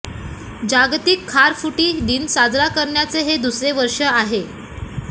जागतिक खारफुटी दिन साजरा करण्याचे हे दुसरे वर्ष आहे